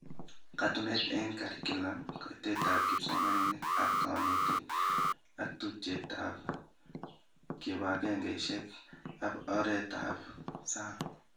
Katununet eng curriculum, kaitetab kipsomanink ak konetik, ak tubchoetab kibagengeishek ab orit ak sang